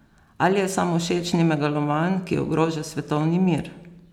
Ali je samovšečni megaloman, ki ogroža svetovni mir?